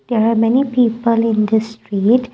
there are many people in this street.